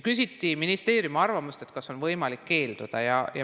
Küsiti ministeeriumi arvamust, kas on võimalik keelduda.